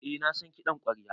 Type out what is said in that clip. Eh na san kiɗan ƙwarya.